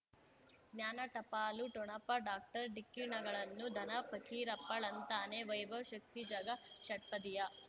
ಜ್ಞಾನ ಟಪಾಲು ಠೊಣಪ ಡಾಕ್ಟರ್ ಢಿಕ್ಕಿ ಣಗಳನು ಧನ ಫಕೀರಪ್ಪ ಳಂತಾನೆ ವೈಭವ್ ಶಕ್ತಿ ಝಗಾ ಷಟ್ಪದಿಯ